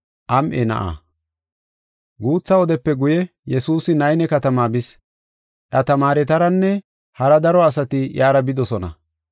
Guutha wodepe guye Yesuusi Nayne katamaa bis. Iya tamaaretaranne hara daro asati iyara bidosona.